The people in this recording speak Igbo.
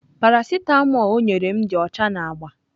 Parasịtamol o nyere m dị ọcha na agba.